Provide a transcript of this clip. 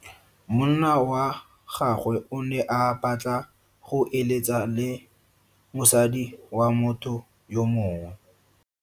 Monna wa gagwe o ne a batla go eletsa le mosadi wa motho yo mongwe.